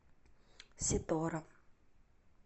сетора